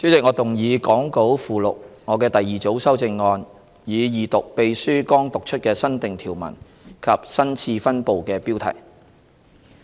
代理主席，我動議講稿附錄我的第二組修正案，以二讀秘書剛讀出的新訂條文及新次分部的標題。